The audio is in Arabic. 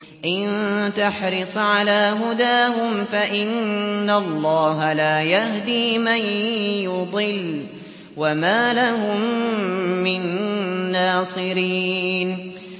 إِن تَحْرِصْ عَلَىٰ هُدَاهُمْ فَإِنَّ اللَّهَ لَا يَهْدِي مَن يُضِلُّ ۖ وَمَا لَهُم مِّن نَّاصِرِينَ